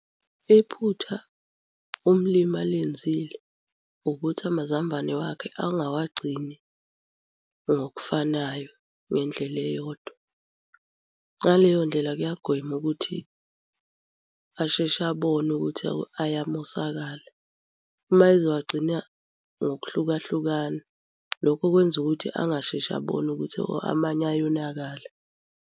Iphutha umlimi alenzile ukuthi amazambane wakhe angawagcini ngokufanayo ngendlela eyodwa. Ngaleyo ndlela kuyagwema ukuthi asheshe abone ukuthi ayamosakala. Uma ezowagcina ngokuhlukahlukana, lokho kwenza ukuthi angasheshe abone ukuthi hho amanye ayonakala.